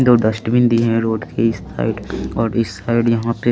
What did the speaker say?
दो डस्टबिन दी है रोड की इस साइड पे और इस साइड यहाँ पे--